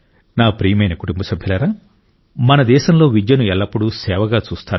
నా ప్రియమైన కుటుంబ సభ్యులారా మన దేశంలో విద్యను ఎల్లప్పుడూ సేవగా చూస్తారు